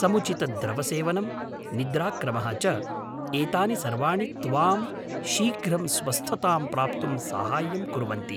समुचितद्रवसेवनम्, निद्राक्रमः च, एतानि सर्वाणि त्वां शीघ्रं स्वस्थतां प्राप्तुं साहाय्यं कुर्वन्ति।